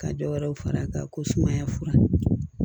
Ka dɔ wɛrɛw fara a kan ko sumaya fura